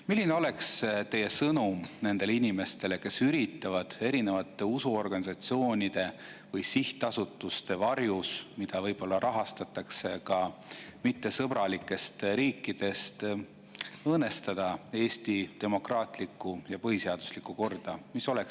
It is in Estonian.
Milline oleks teie sõnum nendele inimestele, kes üritavad erinevate usuorganisatsioonide või sihtasutuste varjus – võib-olla rahastatakse neid organisatsioone ka mittesõbralikest riikidest – õõnestada Eesti demokraatlikku ja põhiseaduslikku korda?